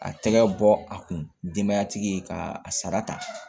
A tɛgɛ bɔ a kun denbayatigi ye ka a sara ta